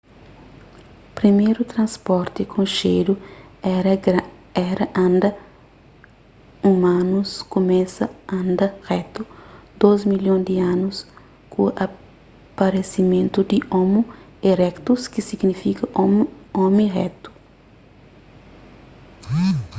priméru transporti konxedu éra anda umanus kumesa anda retu dôs milhon di anus ku aparesimentu di homo erectus ki signifika omi retu